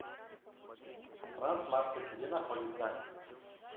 трансмаркет где находится